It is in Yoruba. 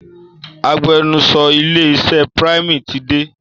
Agbẹnusọ ilé iṣẹ Prime ti dé.